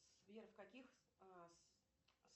сбер в каких